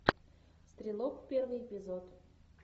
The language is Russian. стрелок первый эпизод